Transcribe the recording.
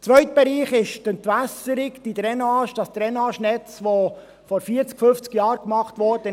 Der zweite Bereich betrifft die Entwässerung, das Drainagenetz, welches vor 40, 50 Jahren erstellt wurde.